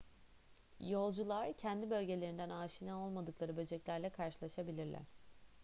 yolcular kendi bölgelerinden aşina olmadıkları böceklerle karşılaşabilirler